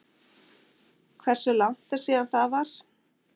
Hversu langt er síðan það var?